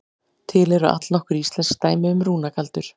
Til eru allnokkur íslensk dæmi um rúnagaldur.